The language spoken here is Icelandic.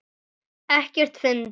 Ekkert fyndið!